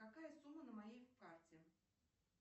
какая сумма на моей карте